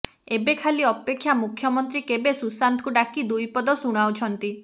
ଏବେ ଖାଲି ଅପେକ୍ଷା ମୁଖ୍ୟମନ୍ତ୍ରୀ କେବେ ସୁଶାନ୍ତଙ୍କୁ ଡାକି ଦୁଇ ପଦ ଶୁଣାଉଛନ୍ତି